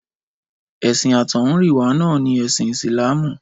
Ẹ̀sìn àtọ̀húnrìnwá náà ni ẹ̀sìn Ìsìlámù.